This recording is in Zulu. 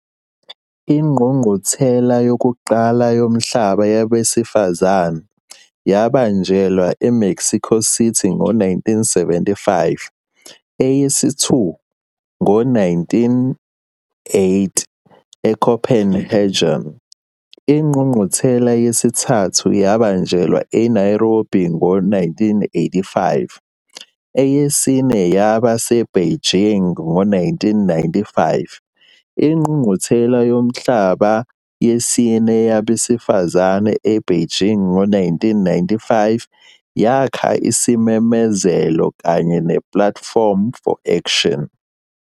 Ingqungquthela yokuqala yomhlaba yabesifazane yabanjelwa eMexico City ngo-1975, eyesi-2 ngo-1980 eCopenhagen, ingqungquthela yesithathu yabanjelwa eNairobi ngo-1985, eyesine yaba seBeijing ngo-1995. INgqungquthela Yomhlaba Yesine Yabesifazane eBeijing yango-1995 yakha isimemezelo kanye nePlatform for Action.